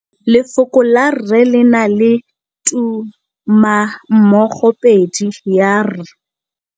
Lefoko la rre, le na le tumammogôpedi ya, r.